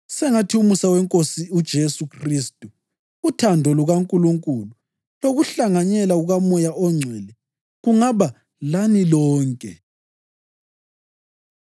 Sengathi umusa weNkosi uJesu Khristu, uthando lukaNkulunkulu lokuhlanganyela kukaMoya oNgcwele kungaba lani lonke.